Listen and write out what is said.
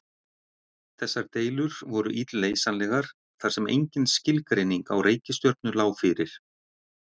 Þessar deilur voru illleysanlegar þar sem engin skilgreining á reikistjörnu lá fyrir.